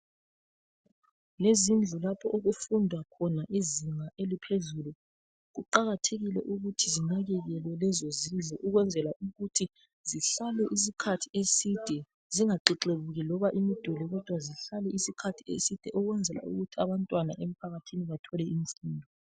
Yizindlu lapho okufundwa khona izinga eliphezulu. Kuqakathekile ukuthi zinakekelwe lezo zindlu ukwenzela ukuthi zihlale isikhathi eside zingaxexebuki loba imiduli kodwa zihlale isikhathi eside ukwenzela ukuthi abantwana emphakathini bathole imfundo.